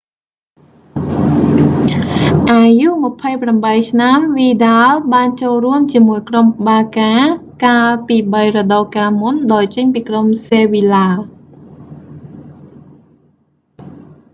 អាយុ 28 ឆ្នាំ វីដាល vidal បានចូលរួមជាមួយក្រុមបាកា barça កាលពីបីរដូវកាលមុន ដោយចេញពីក្រុមសេវីឡា sevilla ។